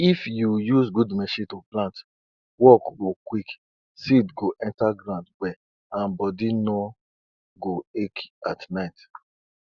people wey dey rear cow for yobe dey call animal doctor to make sure say their cow dey healthy and give better meat um or milk.